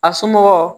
A somɔgɔ